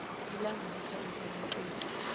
ilambu likhanyisa kumxoxi